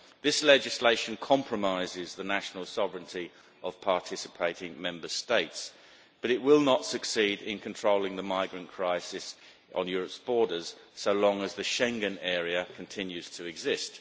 This legislation compromises the national sovereignty of participating Member States, but it will not succeed in controlling the migrant crisis on Europe's borders so long as the Schengen area continues to exist.